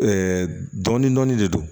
dɔɔnin dɔɔnin de don